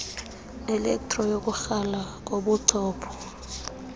elektro yokukrala kobuchopho